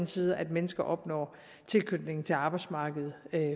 side at mennesker opnår tilknytning til arbejdsmarkedet